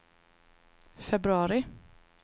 februari